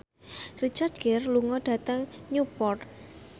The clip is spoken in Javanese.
Richard Gere lunga dhateng Newport